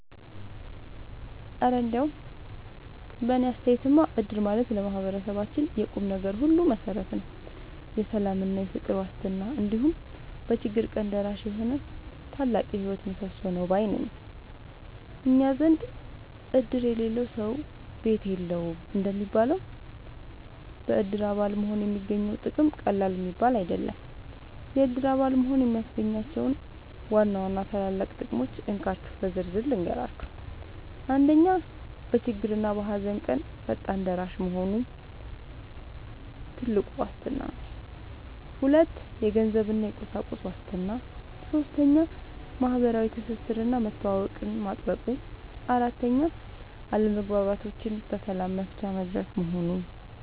እረ እንደው በእኔ አስተያየትማ እድር ማለት ለማህበረሰባችን የቁምነገር ሁሉ መሠረት፣ የሰላምና የፍቅር ዋስትና፣ እንዲሁም በችግር ቀን ደራሽ የሆነ ታላቅ የህይወት ምሰሶ ነው ባይ ነኝ! እኛ ዘንድ "እድር የሌለው ሰው ቤት የለውም" እንደሚባለው፣ በእድር አባል መሆን የሚገኘው ጥቅም ቀላል የሚባል አይደለም። የእድር አባል መሆን የሚያስገኛቸውን ዋና ዋና ታላላቅ ጥቅሞች እንካችሁ በዝርዝር ልንገራችሁ፦ 1. በችግርና በሃዘን ቀን ፈጣን ደራሽ መሆኑ (ትልቁ ዋስትና) 2. የገንዘብና የቁሳቁስ ዋስትና 3. ማህበራዊ ትስስርና መተዋወቅን ማጥበቁ 4. አለመግባባቶችን በሰላም መፍቻ መድረክ መሆኑ